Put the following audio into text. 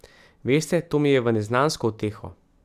Veste, to mi je v neznansko uteho.